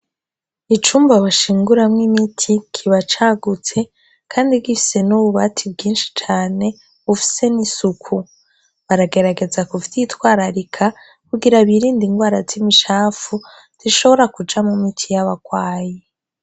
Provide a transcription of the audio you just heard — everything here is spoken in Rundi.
Icumba bashinguramwo imiti kiba cagutse kandi gifise n'ububati bwinshi cane bufise n'isuku, baragerageza kuvyitwararika, kugira birinde ingwara z'imicafu zishobora kuja mumiti y'abagwayi .